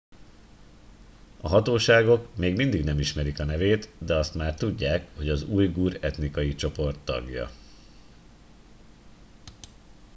a hatóságok még mindig nem ismerik a nevét de azt már tudják hogy az ujgur etnikai csoport tagja